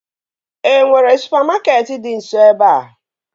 E nwere supamakeetị dị nso ebea?